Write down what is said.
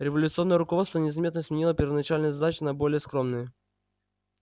революционное руководство незаметно сменило первоначальные задачи на более скромные